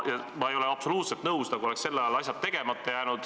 Ma ei ole absoluutselt nõus, et sel ajal jäid asjad tegemata.